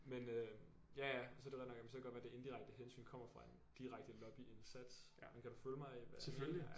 Men øh ja ja så er det rigtig nok så kan det godt være det indirekte hensyn kommer fra en direkte lobbyindsats men kan du følge mig i hvad